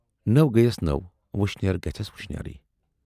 نٔو گٔیَس نٔو، وُشنیرٕ گَژھٮَ۪س وُشنیر۔